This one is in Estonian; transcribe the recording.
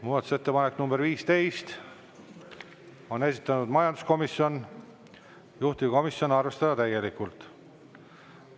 Muudatusettepanek nr 15, on esitanud majanduskomisjon, juhtivkomisjon: arvestada täielikult.